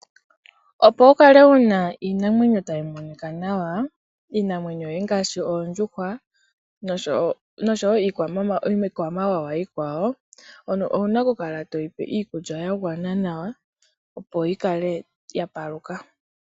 Opo wukale wuna iinamwenyo tayi monika nawa, iinamwenyo yoye ngaashi oondjuhwa noshowo iikwamawawa iikwawo, owuna okukala toyipe iikulya ya gwana nawa, opo yikale yapaluka.